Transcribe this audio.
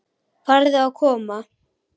Farðu að koma.